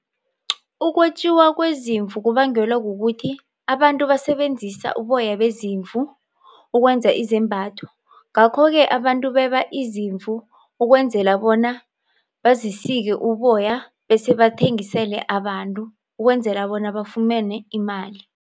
Ukwetjiwa kwezimvu kubangelwa kukuthi abantu basebenzisa uboya bezimvu ukwenza izembatho. Ngakho-ke abantu beba izimvu ukwenzela bona bazisike uboya bese bathengisele abantu ukwenzela bona bafumane imali.